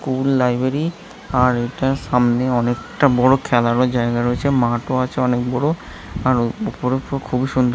school library | এইটার সামনে অনেকটা বড় খেলারও জায়গা রয়েছে | মাঠও আছে অনেক বড় | আর ওপরে ওপরে খুবই সুন্দর--